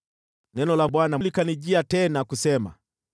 Neno la Bwana likanijia tena, kusema: